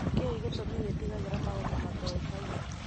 Nĩ kĩĩ gĩtumi wĩtigire maũndũ matoĩkaine.?